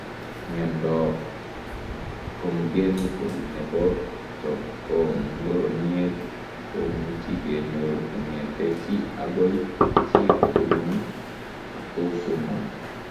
Miondoop Congenitol nepo chepkogoniet komuchii kenyoor kongete chii agoi chii kobunu atosomol